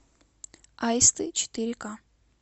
аисты четыре ка